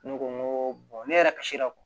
Ne ko n ko ne yɛrɛ kasira kɔ